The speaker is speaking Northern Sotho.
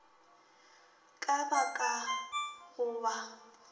ka ba ka go ba